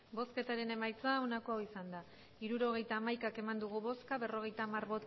hirurogeita hamaika eman dugu bozka berrogeita hamar